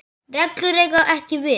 reglur eiga ekki við.